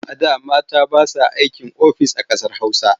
A da mata ba sa aikin ofis a ƙasar Hausa.